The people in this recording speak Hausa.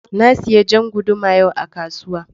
Na sayi jan guduma yau a kasuwa.